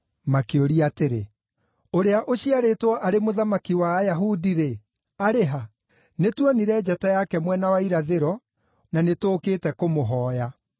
makĩũria atĩrĩ, “Ũrĩa ũciarĩtwo arĩ mũthamaki wa Ayahudi-rĩ, arĩ ha? Nĩtuonire njata yake mwena wa irathĩro, na nĩtũũkĩte kũmũhooya.”